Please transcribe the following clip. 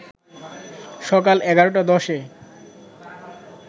সকাল ১১.১০ এ